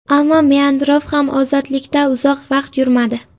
Ammo Meandrov ham ozodlikda uzoq vaqt yurmadi.